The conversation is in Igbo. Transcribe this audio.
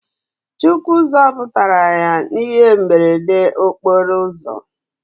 Chukwu zoputara ya na ihe mberede okporo ozo